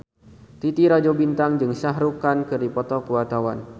Titi Rajo Bintang jeung Shah Rukh Khan keur dipoto ku wartawan